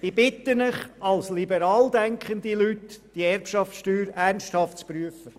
Ich bitte alle liberal denkenden Leute, die Erbschaftssteuer ernsthaft zu prüfen.